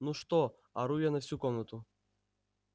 ну что ору я на всю комнату